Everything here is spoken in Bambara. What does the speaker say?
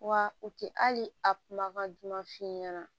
Wa u tɛ hali a kumakan duman f'i ɲɛna